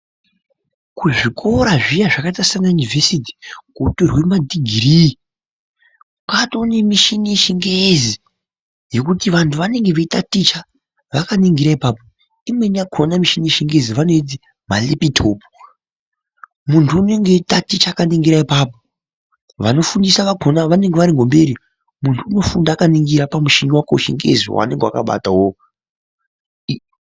Kuzvikora zviya zvevanoti yunivhesiti kwotorwe madhighirii. Kwatowe nemishini yechingezi yekuti vanhu vanenge veitaticha vakaningira ipapo ,imweni yakhona michini yechingezi vanoiti marepitopu .Munhu unonga eitaticha akaningira apapo, vanofundisa vakhona vanenge vari ngemberi .Munhu unofunda akaningira pamuchini wakwe wechingezi waanenge akabata uwowo.